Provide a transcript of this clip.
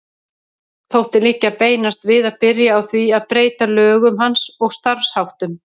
Þótti liggja beinast við að byrja á því að breyta lögum hans og starfsháttum.